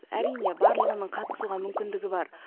әрине барлығының қатысуға мүмкіндігі бар